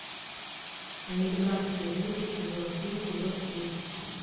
американские боги сезон три эпизод тридцать